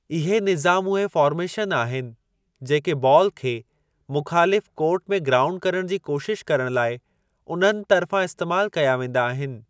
इहे निज़ाम उहे फ़ार्मेशन आहिनि जेके बाल खे मुख़ालिफ़ु कोर्ट में ग्राऊंड करण जी कोशिश करण लाइ उन्हनि तर्फ़ां इस्तेमाल कया वेंदा आहिनि।